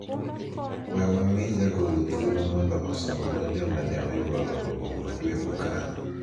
we wamii jagoro thuolo mondo osomwa joma ne oyuoro romo ma dwe mokalo